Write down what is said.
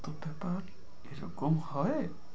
প্রত্যেকবার এরকম হয়